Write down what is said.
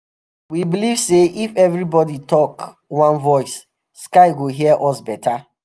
we believe say if everybody talk one voice sky go hear us better.